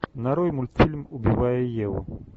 нарой мультфильм убивая еву